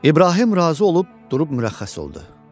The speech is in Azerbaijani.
İbrahim razı olub durub mürəxxəs oldu.